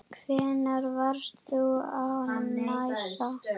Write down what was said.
Hvenær varst þú á NASA?